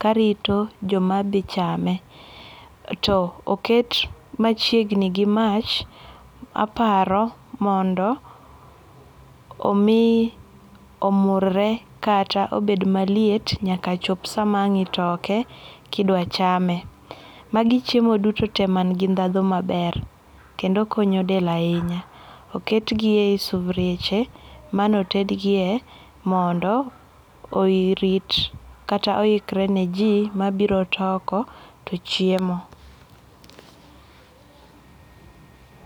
karito joma dhi chame. To oket machiegni gi mach aparo mondo omi omurre kata obed maliet nyaka chop sama ang itoke kidwa chame. Magi chiemo duto tee man gi ndhandhu maber kendo konyo del ahinya. Oketgi ei sufrieche mane otedgie mondo orit kata oikre ne jii mabiro toko to chiemo